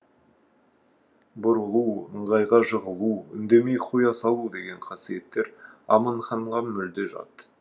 бұрылу ыңғайға жығылу үндемей қоя салу деген қасиеттер аманханға мүлде жат